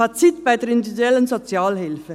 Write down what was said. Fazit bei der Individuellen Sozialhilfe.